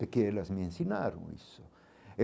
Porque elas me ensinaram isso.